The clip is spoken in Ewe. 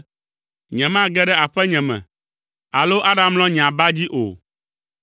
“Nyemage ɖe aƒenye me, alo aɖamlɔ nye aba dzi o.